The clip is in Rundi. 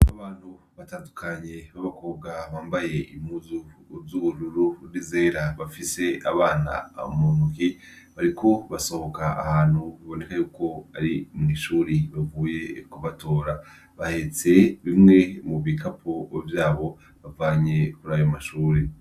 Abantu batandukanye babakobwa bambaye impuzu zubururu nizera bafise abana muntoki bariko basohoka ahantu biboneka yuko ari irindi shuri bavuye kubatora bahetse bimwe mubikapo vanye kurayo mashure